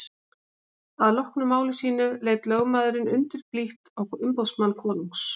Að loknu máli sínu leit lögmaðurinn undurblítt á umboðsmann konungs.